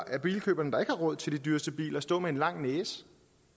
af bilkøberne der ikke har råd til de dyreste biler stå med en lang næse